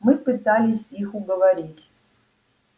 мы пытались их уговорить